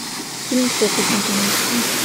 фильм фокусники найти